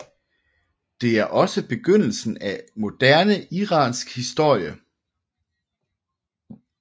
Det er også begyndelsen af moderne iransk historie